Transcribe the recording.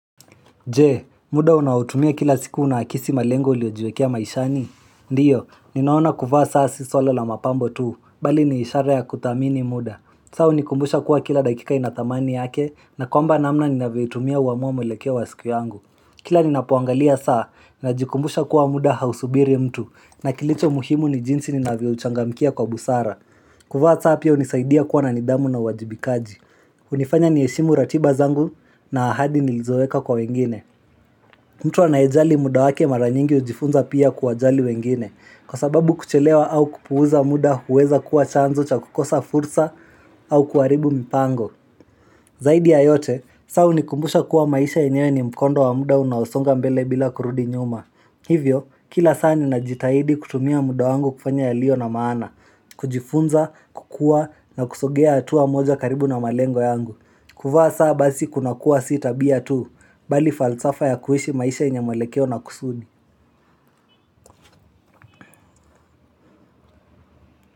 Je, muda unaotumia kila siku unaakisi malengo uliojiwekea maishani? Ndiyo, ninaona kuvaa saa suala la mapambo tuu, bali niishara ya kudhamini muda. Saa hunikumbusha kuwa kila dakika inadhamani yake, na kwamba namna ninavyo hutumia huamuwa mwelekeo wa siku yangu. Kila ninapo angalia saa, najikumbusha kuwa muda hausubiri mtu, na kilicho muhimu ni jinsi ninavyo uchangamkia kwa busara. Kuvaa saa pia hunisaidia kuwa na nidhamu na uwajibikaji. Hunifanya ni heshimu ratiba zangu, na ahadi nilizoeka kwa wengine. Mtu anaejali muda wake mara nyingi hujifunza pia kuwa jali wengine Kwa sababu kuchelewa au kupuuza muda huweza kuwa chanzo cha kukosa fursa au kuharibu mipango Zaidi ya yote, saa hunikumbusha kuwa maisha yenyewe ni mkondo wamuda unaosonga mbele bila kurudi nyuma Hivyo, kila saa ninajitahidi kutumia muda wangu kufanya yalio na maana kujifunza, kukua na kusogea hatua moja karibu na malengo yangu kuvaa saa basi kuna kuwa si tabia tu bali falsafa ya kuhishi maisha yenye mwelekeo na kusuni.